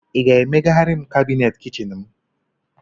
Ị ga-emegharị kabineti kichin m?